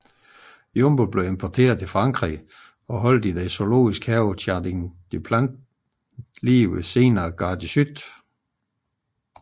Jumbo blev importeret til Frankrig og holdt i den zoologisk have Jardin des Plantes nær Gare de Sud